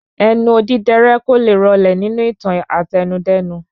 Ẹnu odidẹrẹ́ kóle rọlẹ nínú ìtàn Àtẹnudẹ́nu